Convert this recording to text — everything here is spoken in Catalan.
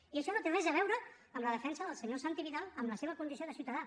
i això no té res a veure amb la defensa del senyor santi vidal en la seva condició de ciutadà